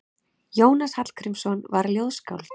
Jónas Hallgrímsson var ljóðskáld.